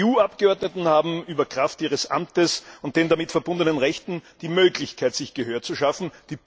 Die EU Abgeordneten haben Kraft ihres Amtes und der damit verbundenen Rechte die Möglichkeit, sich Gehör zu verschaffen.